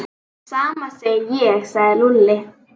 Sama segi ég sagði Lúlli.